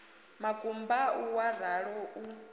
makumba au wa ralo u